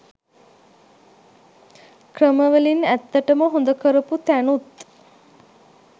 ක්‍රම වලින් ඇත්තටම හොඳ කරපු තැනුත්